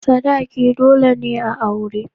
Sadaki dole ne a aure.